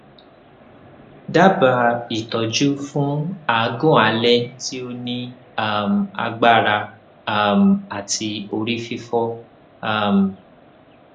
dabaa itoju fun agun ale ti o ni um agbara um ati ori fifo um